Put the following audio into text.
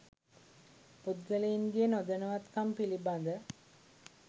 පුද්ගලයින්ගේ නොදැනුවත්කම් පිලිබඳ